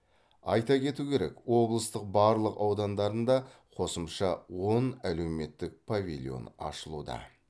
айта кету керек облыстың барлық аудандарында қосымша он әлеуметтік павильон ашылуда